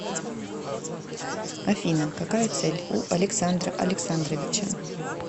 афина какая цель у александра александровича